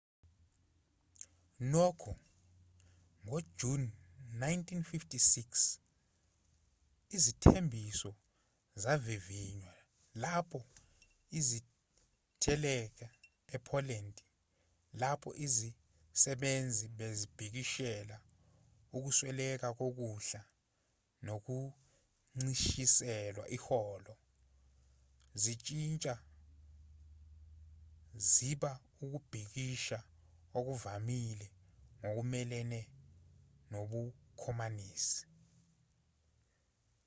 nokho ngojuni 1956 izithembiso zavivinywa lapho iziteleka e-poland lapho izisebenzi bezibhikishela ukusweleka kokudla nokuncishiselwa iholo zishintsha ziba ukubhikisha okuvamile ngokumelene nobukhomanisi